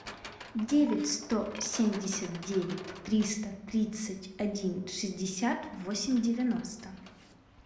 девять сто семьдесят девять триста тридцать один шестьдесят восемь девяносто